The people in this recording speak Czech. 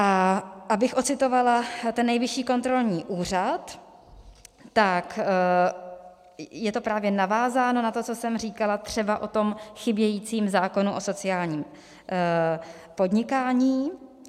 A abych odcitovala ten Nejvyšší kontrolní úřad, tak je to právě navázáno na to, co jsem říkala třeba o tom chybějícím zákonu o sociálním podnikání.